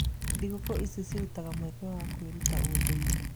Thigũkũ ici cirutaga mweke wa kwĩruta ũndũire.